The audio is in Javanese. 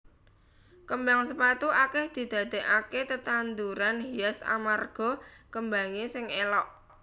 Kembang sepatu akèh didadèkaké tetanduran hias amarga kembangé sing élok